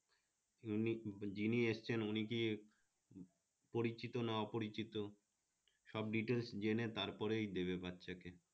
যিনি এসেছেন উনি কি পরিচিত না অপরিচিত সব details জেনে তারপরে দেবে বাচ্চাকে